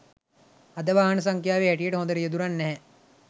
අද වාහන සංඛ්‍යාවේ හැටියට හොඳ රියැදුරන් නැහැ